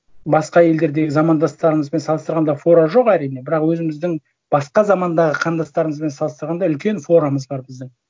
басқа елдердегі замандастырымызбен салыстырғанда фора жоқ әрине бірақ өзіміздің басқа замандағы қандастарымызбен салыстырғанда үлкен форамыз бар біздің